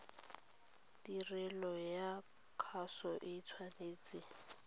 tirelo ya kgaso o tshwanetse